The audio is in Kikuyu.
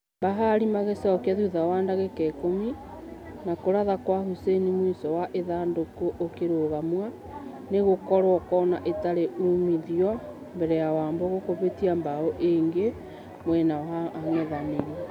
Bahari magĩcokia thutha wa dagĩka ikũmi , no kũratha gwa hussein mũisho wa ithandũkũ ũkirũgamio nĩgokorwo kona itari umithio mbere ya wambugu kũhitia bao ĩnge mwena wa angethanĩri.